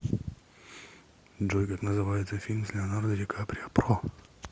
джой как называется фильм с леонардо ди каприо про